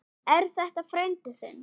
Er þetta frændi þinn?